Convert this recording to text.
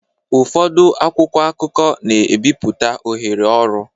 Ụfọdụ akwụkwọ akụkọ na-ebipụta ohere ọrụ